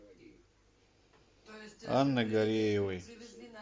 анны гареевой